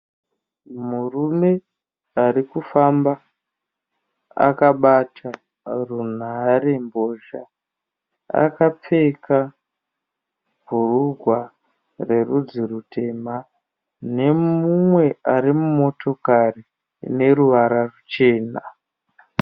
Murume ari kufamba akabata runharembozha . Akapfeka bhurugwa rerudzi rutema Nemumwe ari mumotokari ine ruvara ruchena.